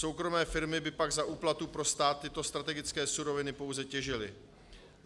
Soukromé firmy by pak za úplatu pro stát tyto strategické suroviny pouze těžily;